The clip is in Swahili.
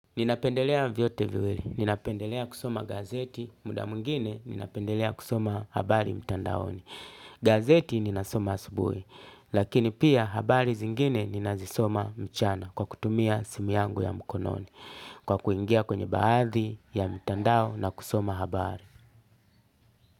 Ninapendelea vyote viwili ninapendelea kusoma gazeti, muda mwingine ninapendelea kusoma habari mtandaoni. Gazeti ninasoma asubuhi, lakini pia habari zingine ninazisoma mchana kwa kutumia simu yangu ya mkononi kwa kuingia kwenye baadhi ya mtandao na kusoma habari.